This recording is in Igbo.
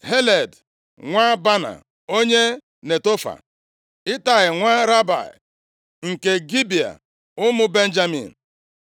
Heled, + 23:29 Heled bụkwa Heleb nwa Baana, onye Netofa, Itai, nwa Ribai, nke Gibea ụmụ Benjamin,